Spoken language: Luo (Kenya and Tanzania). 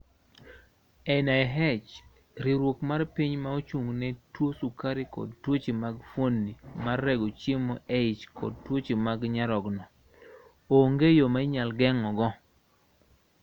NIH:Riwruok mar piny ma ochung' ne tuwo sukari kod tuoche mag fuondni mag rego chiemo e ich kod tuoche mag nyarogno. Onge yo ma inyalo geng�ogo.